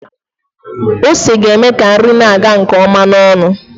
Ose ga-eme ka nri na-aga nke ọma n'ọnụ